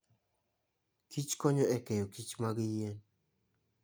Kich konyo e keyo Kich mag yien.